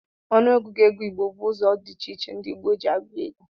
Ọnụ ọgụgụ ego igbo bu olu di iche iche ndi igbo ji agụ ego.